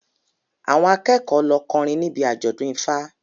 Àwọn akẹ́kọ̀ọ́ lọ kọrin níbi àjọ̀dún Ifa